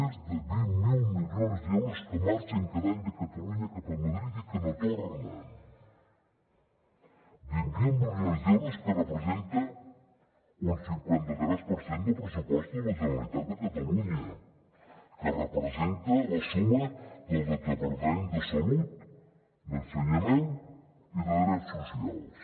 més de vint miler milions d’euros que marxen cada any de catalunya cap a madrid i que no tornen vint miler milions d’euros que representen un cinquanta tres per cent del pressupost de la generalitat de catalunya que representen la suma dels departaments de salut d’ensenyament i de drets socials